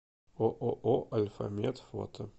ооо альфамет фото